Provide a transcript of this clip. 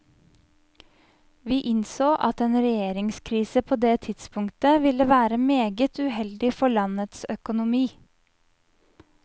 Vi innså at en regjeringskrise på det tidspunktet ville være meget uheldig for landets økonomi.